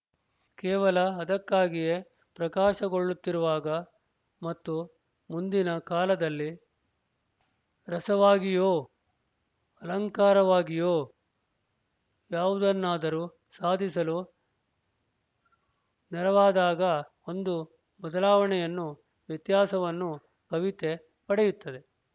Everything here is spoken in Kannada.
ಕೇವಲ ಅದಕ್ಕಾಗಿಯೇ ಪ್ರಕಾಶಗೊಳ್ಳುತ್ತಿರುವಾಗ ಮತ್ತು ಮುಂದಿನ ಕಾಲದಲ್ಲಿ ರಸವಾಗಿಯೊ ಅಲಂಕಾರವಾಗಿಯೊ ಯಾವುದನ್ನಾದರೂ ಸಾಧಿಸಲು ನೆರವಾದಾಗ ಒಂದು ಬದಲಾವಣೆಯನ್ನೂ ವ್ಯತ್ಯಾಸವನ್ನೂ ಕವಿತೆ ಪಡೆಯುತ್ತದೆ